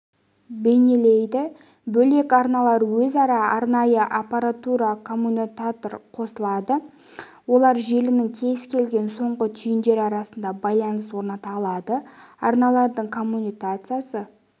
бейнелейді бөлек арналар өзара арнайы аппаратура коммутатормен қосылады олар желінің кез келген соңғы түйіндері арасында байланыс орната алады арналардың коммутациясы